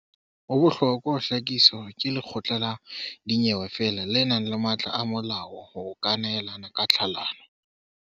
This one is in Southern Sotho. Ho bohlokwa ho hlakisa hore ke lekgotla la dinyewe feela le nang le matla a molao ho ka nehelana ka tlhalano.